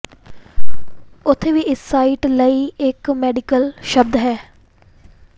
ਉੱਥੇ ਵੀ ਇਸ ਸਾਈਟ ਲਈ ਇੱਕ ਮੈਡੀਕਲ ਸ਼ਬਦ ਹੈ